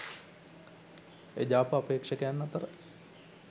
එජාප අපේක්ෂකයන් අතර